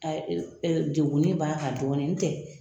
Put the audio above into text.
degunin b'a ka dɔɔni ntɛ.